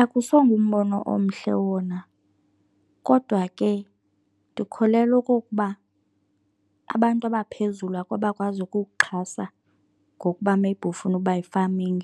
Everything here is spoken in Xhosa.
Akusongumbono omhle wona kodwa ke ndikholelwa okokuba abantu abaphezulu abakwazi ukukuxhasa ngokuba maybe ufuna ukuba yi-farming.